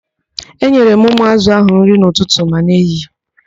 Enyere m ụmụ ázụ̀ ahụ nri n'ụtụtụ ma n'ehihie.